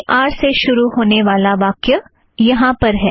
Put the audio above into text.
we are से शुरू होने वाला वाक्य यहाँ पर है